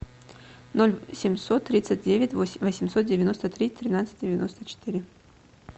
ноль семьсот тридцать девять восемьсот девяносто три тринадцать девяносто четыре